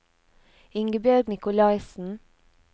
Ingebjørg Nicolaisen